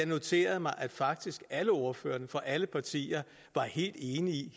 noteret mig at faktisk alle ordførere fra alle partier var helt enige i